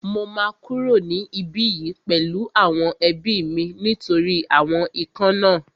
Mo máa kúrò ní ibí yìí pẹ̀lú àwọn ẹbí mi nítorí àwọn ikán náà